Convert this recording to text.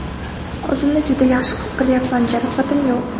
O‘zimni juda yaxshi his qilyapman, jarohatim yo‘q.